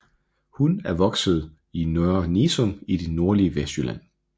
Hun er opvokset i Nørre Nissum i det nordlige Vestjylland